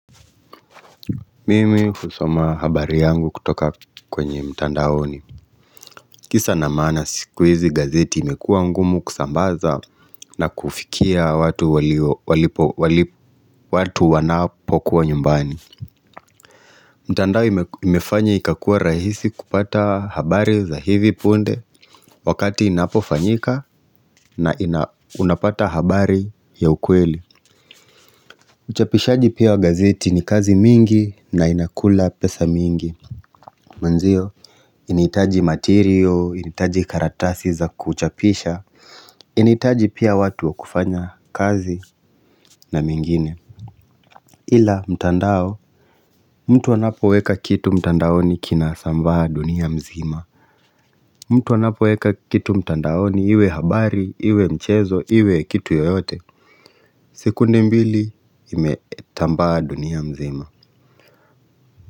Mimi husoma habari yangu kutoka kwenye mtandaoni kisa na maana siku hizi gazeti imekuwa ngumu kusambaza na kufikia watu wanapo kuwa nyumbani mtandao imefanya ikakuwa rahisi kupata habari za hivi punde wakati inapofanyika na unapata habari ya ukweli Uchapishaji pia wa gazeti ni kazi mingi na inakula pesa mingi Manzio, inaitaji matirio, inaitaji karatasi za kuchapisha Inaitaji pia watu wa kufanya kazi na mengine Ila mtandao, mtu anapo weka kitu mtandaoni kina sambaa dunia mzima mtu anapo weka kitu mtandaoni iwe habari, iwe mchezo, iwe kitu yoyote sekunde mbili imetambaa dunia mzima.